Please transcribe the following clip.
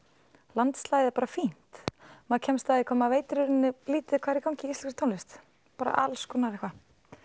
landslagið er bara fínt maður kemst að því hvað maður veit í rauninni lítið hvað er í gangi í íslenskri tónlist bara alls konar eitthvað